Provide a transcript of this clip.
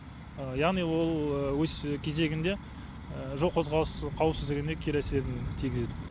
яғни ол өз кезегінде жол қозғалыс қауіпсіздігіне кері әсерін тигізеді